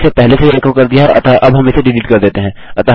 हमने इसे पहले से ही एको कर दिया हैअतः अब हम इसे डिलीट कर देते हैं